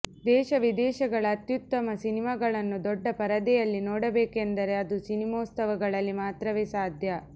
ದೇಶ ವಿದೇಶಗಳ ಅತ್ಯುತ್ತಮ ಸಿನಿಮಾಗಳನ್ನು ದೊಡ್ಡ ಪರದೆಯಲ್ಲಿ ನೋಡಬೇಕೆಂದರೆ ಅದು ಸಿನಿಮೋತ್ಸವಗಳಲ್ಲಿ ಮಾತ್ರವೆ ಸಾಧ್ಯ